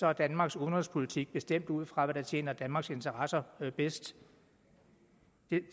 er danmarks udenrigspolitik bestemt ud fra hvad der tjener danmarks interesser bedst